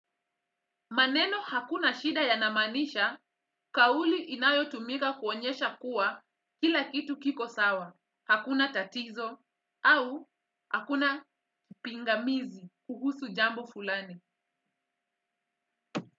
Maneno hakuna shida yanamanisha, kauli inayotumika kuonyesha kuwa kila kitu kiko sawa, hakuna tatizo, au hakuna pingamizi kuhusu jambo fulani.